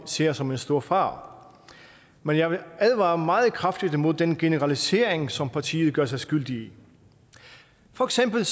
ser som en stor fare men jeg vil advare meget kraftigt imod den generalisering som partiet gør sig skyldig i for eksempel